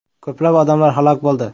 Ko‘plab odamlar halok bo‘ldi.